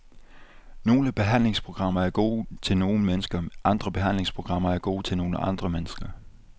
Nogle behandlingsprogrammer er gode til nogle mennesker, andre behandlingsprogrammer er gode til nogle andre mennesker.